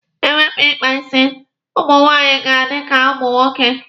E wepụ ikpa isi, ụmụ nwaanyị ga-adi ka ụmụ nwoke.